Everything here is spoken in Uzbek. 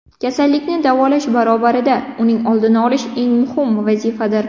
Kasallikni davolash barobarida, uning oldini olish eng muhim vazifadir.